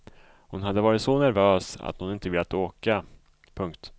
Hon hade varit så nervös att hon inte velat åka. punkt